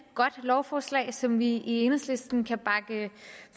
godt lovforslag som vi i enhedslisten kan bakke